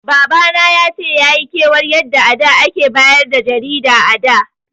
Baba na yace yayi kiwar yadda a da ake bayar da jarida a da